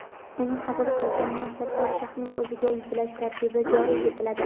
uni qabul qilgan mansabdor shaxsning o‘ziga yuklash tartibi joriy etiladi;.